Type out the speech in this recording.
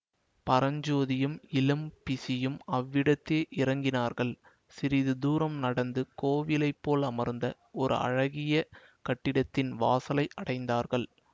பரஞ்சோதியும் இளம் பிஷியும் அவ்விதமே இறங்கினார்கள் சிறிது தூரம் நடந்து கோயிலைப் போல் அமைந்த ஓர் அழகிய கட்டிடத்தின் வாசலை அடைந்தார்கள்